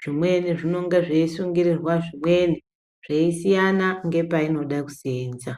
Zvimweni zvinonga zveisungirirwa zvimweni, zveisiyana ngepainoda kuseenza.